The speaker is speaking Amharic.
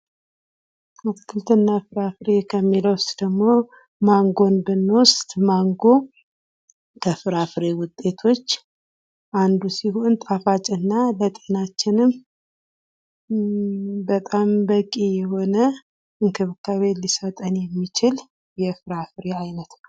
አትክልትና ፍራፍሬ ከሚለው ውስጥ ደግሞ ማንጎን ብንወስድ ፦ ማንጎ ከፍራፍሬ ውጤቶች አንዱ ሲሆን ጣፋጭና ለጤናችንም በጣም በቂ የሆነ እንክብካቤን ሊሰጠን የሚችል የፍራፍሬ አይነት ነው ።